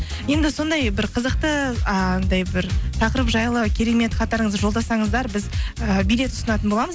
енді сондай бір қызықты анадай бір тақырып жайлы керемет хаттарыңызды жолдасаңыздар біз ііі билет ұсынатын боламыз